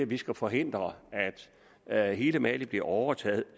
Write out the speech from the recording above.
vi skal forhindre at hele mali bliver overtaget